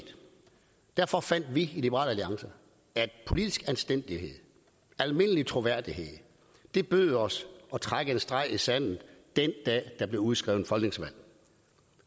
derfor fandt vi i liberal alliance at politisk anstændighed almindelig troværdighed bød os at trække en streg i sandet den dag der blev udskrevet folketingsvalg